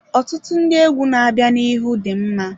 Ọtụtụ ndị egwu na-abịa n'ihu dị mma.